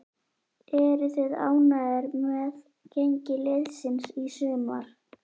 Eruð þið ánægðir með gengi liðsins í sumar?